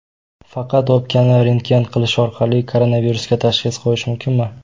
Faqat o‘pkani rentgen qilish orqali koronavirusga tashxis qo‘yish mumkinmi?